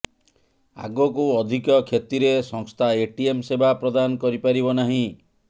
ଆଗକୁ ଅଧିକ କ୍ଷତିରେ ସଂସ୍ଥା ଏଟିଏମ ସେବା ପ୍ରଦାନ କରିପାରିବ ନାହିଁ